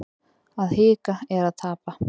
Að hika er að tapa